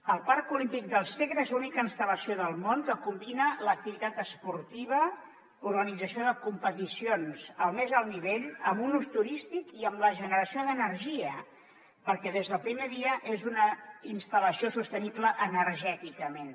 el parc olímpic del segre és l’única instal·lació del món que combina l’activitat esportiva l’organització de competicions al més alt nivell amb un ús turístic i amb la generació d’energia perquè des del primer dia és una instal·lació sostenible energèticament